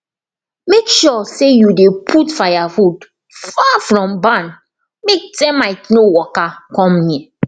make sure say you dey put firewood far from barn make termite no waka come near